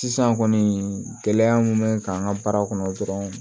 Sisan kɔni gɛlɛya mun bɛ n kan an ka baara kɔnɔ dɔrɔn